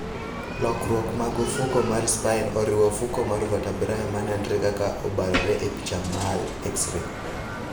Lokruok mag ofuko mar spine oriwo ofuko mar vertebrae ma nenre ka obarore e picha mar x ray.